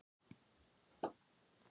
Það eru vond ráð, sagði hann,-og fánýt.